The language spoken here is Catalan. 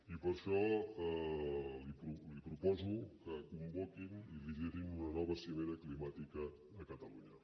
i per això li proposo que convoquin i liderin una nova cimera climàtica a catalunya